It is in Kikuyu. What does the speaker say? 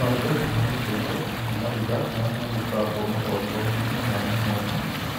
Maruga ma ũndũire, kana maruga marĩa magĩkoragwo magongona-inĩ mwanya mwanya,